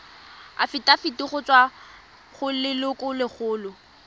afitafiti go tswa go lelokolegolo